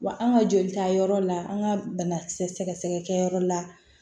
Wa an ka jolita yɔrɔ la an ka banakisɛ sɛgɛsɛgɛ kɛ yɔrɔ la